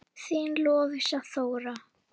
Þín Lovísa Þóra.